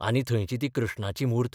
आनी थंयची ती कृष्णाची म्हूर्त.